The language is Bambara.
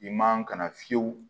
I man ka na fiyewu